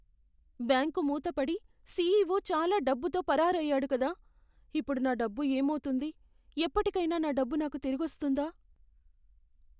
Bank మూతపడి, CEO చాలా డబ్బుతో పరారయ్యాడు కదా, ఇప్పుడు నా డబ్బు ఏమవుతుంది? ఎప్పటికైనా నా డబ్బు నాకు తిరిగొస్తుందా?